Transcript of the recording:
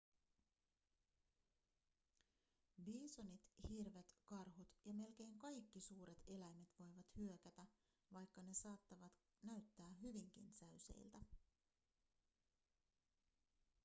biisonit hirvet karhut ja melkein kaikki suuret eläimet voivat hyökätä vaikka ne saattavat näyttää hyvinkin säyseiltä